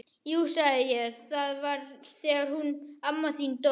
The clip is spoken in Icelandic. Jú sagði ég, það var þegar hún amma þín dó